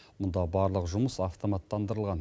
мұнда барлық жұмыс автоматтандырылған